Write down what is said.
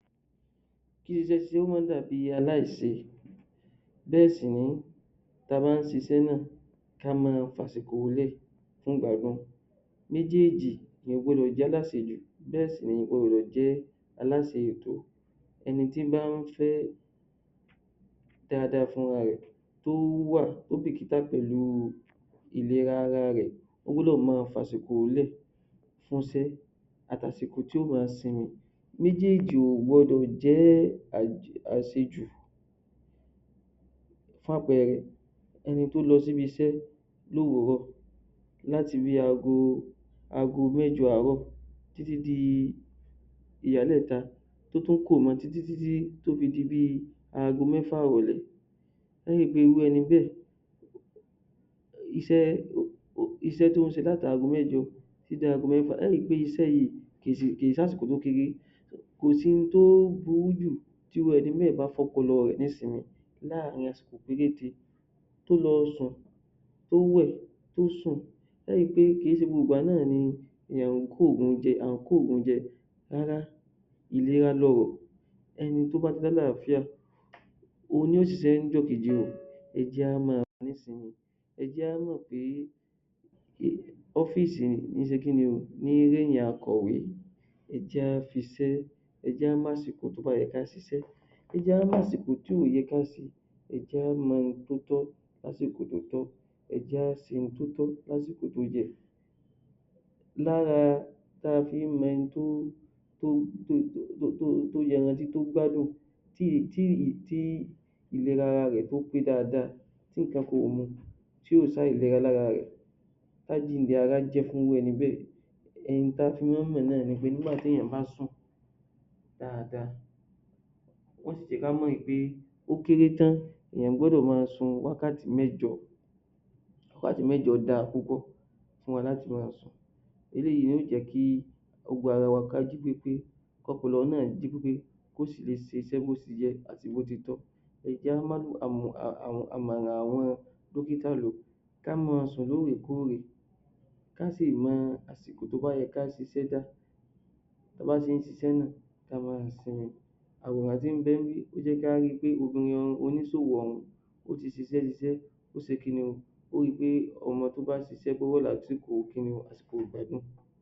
Kí iṣẹ́ ṣíṣe má dàbí aláìṣe bẹ́ẹ̀ sì nì í ta bá ń ṣiṣẹ́ náà ká máa fàsìkò lẹ̀ fún ìgbádùn. Méjèèjì èèyàn ò gbọ́dọ̀ jáláṣejù, bẹ́ẹ̀ sì ni èèyàn ò gbọ́dọ̀ jẹ́ aláṣeìtó. Ẹni tí í bá ń fẹ́ dáadáa fún rarẹ̀, tówó wà ó bìkítà pẹ̀lú ìlera ara rẹ̀, ó gbọ́dọ̀ ma fàsìkò lè fún ṣẹ́ àti àsìkò tí yóò ma sinmi. Méjèèjì ò gbọ́dọ̀ jẹ́ àṣejù. Fún àpẹẹrẹ, ẹni tó lọ síbi iṣẹ́ lóòwúrò, láti bí ago mẹ́jọ àárọ̀ tí tí di ìyálẹ̀ta, kó tó kúrò mọ tí tí tí tí tó fi di bí ago mẹ́fà ìrọ̀lẹ́. Ẹ ẹ́ ri pé irú ẹni bẹẹ̀ iṣẹ́ tó ń ṣe láti ago mẹ́jọ tí tí da ago mẹ́fà. Ẹ ẹ́ ri pé iṣẹ́ yìí, kì í ṣàsìkò kékeré. Kò sí ohun tó burú jù tí irú ẹni bẹ́ẹ̀ bá fọ́pọlọ rẹ̀ ní simi. láàárín àsìkò péréje tó lọ sùn, tó wẹ̀, tó sùn, ẹ ó ri pé kì í ṣe gbogbo ìgbà náà ni èèyàn ń kógùn jẹ, a ń kógùn jẹ rárá ìlera lọrọ̀. Ẹni tó bá ti láàlàáfíà, òun ni yóò ṣiṣẹ́ níjọ́ kejì rẹ̀. Ẹ jẹ́ á ma ní simi. Ẹ jẹ́ á wò pé ọ́físì kì í ṣe kí ni o ní í rẹ́yìn akọ̀wé. Ẹ jẹ́ á fi ṣẹ́ ẹ jẹ́ á màsìkò tó bá yẹ ká ṣiṣẹ́, ẹ jẹ́ á màsìkò tí ò yẹ ká ṣe, ẹ jẹ́ á mọ ohun tó tọ́, ká sì ẹ jẹ́ á ṣe ohun tó tọ́ lásìkò tó yẹ. Lára ta fí ń mẹni tó yanrantí, tó gbádùn tí ìlera ara rẹ̀ tó pé dáadáa, tí nǹkan kan ò mu, tí ò sáàìlera lára rẹ̀, tá jíǹde ara jẹ́ fún rú ẹni bẹ́ẹ̀. Ohun ta fi máa ń mọ̀ náà ni pé téèyàn bá sùn dáadáa. Wọ́n sì jẹ́ ká mọ̀ wí pé ó kéré tán èèyàn gbọ́dọ̀ ma sun wákàtí mẹ́jọ. Wákàtí mẹ́jọ dáa púpọ̀ fún wa láti ma sùn. Eléyìí ni yó jẹ́ kí gbogbo ara wa ká jí pé pé kọ́pọlọ náà jí pé pé, kó sì lè ṣiṣẹ́ bó ti yẹ àti bó ti tọ́. Ẹ jẹ́ á àmọ̀ràn àwọn dókítà lò ká ma sùn ló ò rè kó ò rè, ká sì mọ àsìkò tó bá yẹ ká ṣiṣẹ́ dá. Ta bá ṣe ń ṣiṣẹ́ náà, ká máa sinmi. Àwòrán tí ń bẹ ní bí jẹ́ ká ri pé obìnrin oníṣòwò òhún ó ti ṣiṣẹ́ ṣiṣẹ́, ó ṣe kí ni o, ó ri pé ọmọ tó bá ṣiṣẹ́ gbọ́dọ̀ lásìkò kí ni o, àsìkò ìgbádùn.